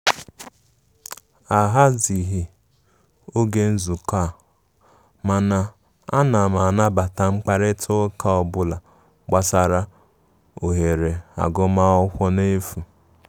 A gha zighi oge nzukọ a,mana ana m anabata mkparịta ụka ọbụla gbasara ohere agụ ma akwụkwọ na efụ.